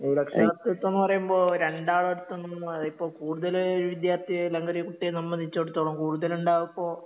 രക്ഷാകർതൃത്വം എന്നുപറയുമ്പോ രണ്ടാളുടടുത്തും ഇപ്പോൾ കൂടുതല് ഒരു വിദ്യാർത്ഥിയെ അല്ലെങ്കിൽ ഒരു കുട്ടിയെ സംബന്ധിച്ചിടത്തോളം കൂടുതലുണ്ടാവുക ഇപ്പോ